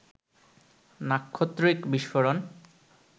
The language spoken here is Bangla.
নাক্ষত্রিক বিস্ফোরণ